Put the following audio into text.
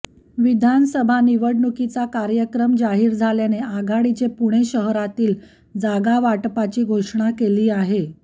विधानसभा निवडणुकीचा कार्यक्रम जाहीर झाल्याने आघाडीचे पुणे शहरातील जागावाटपाची घोषणा केली आहे